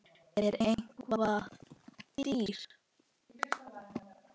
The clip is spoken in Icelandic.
Er hann eitthvað dýr?